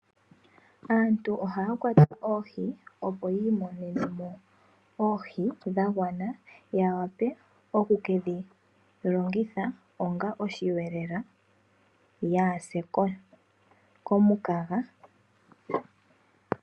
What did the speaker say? Aantu ohaya kwata oohi opo yii monenemo oohi dha gwana ya wape okuke dhi longitha onga osheelelwa yaase komukaga.